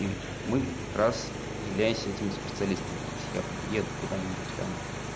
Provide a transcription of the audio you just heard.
и мы как раз является этими специалистами то есть я блин еду куда-нибудь там